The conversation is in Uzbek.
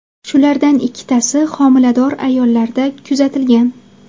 Shulardan ikkitasi homilador ayollarda kuzatilgan.